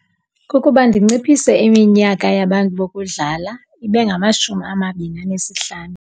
Kukuba ndinciphise iminyaka yabantu bokudlala ibe ngamashumi amabini anesihlanu.